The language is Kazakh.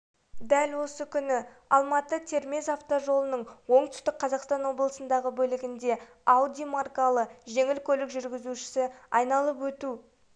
дәл осы күні алматы-термез автожолының оңтүстік қазақстан облысындағы бөлігінде ауди маркалы жеңіл көлік жүргізушісі айналып өту